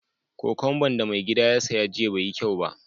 Kokwamba'n da mai gidy na ya saya jiya bai yi kyau ba.